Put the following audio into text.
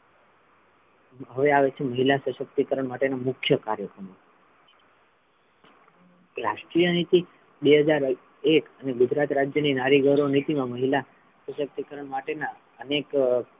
હવે આવે છે મહિલા સશક્તિકરણ માટે ના મુખ્ય કાર્યક્રમો રાષ્ટ્રીય નીતિ બે હજાર એક અને ગુજરાત રાજ્ય ની નારી ગૌરવ નીતિ મા મહિલા શાશક્તિકરણ માટે ના અનેક,